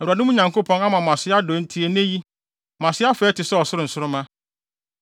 Awurade, mo Nyankopɔn, ama mo ase adɔ enti nnɛ yi, mo ase afɛe te sɛ ɔsoro nsoromma.